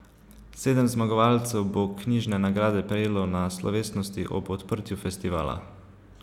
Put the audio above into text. Sedem zmagovalcev bo knjižne nagrade prejelo na slovesnosti ob odprtju festivala.